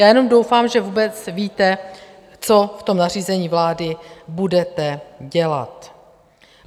Já jenom doufám, že vůbec víte, co v tom nařízení vlády budete dělat.